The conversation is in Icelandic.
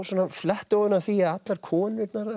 flétt ofan af því að allar konurnar